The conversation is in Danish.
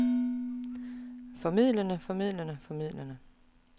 formildende formildende formildende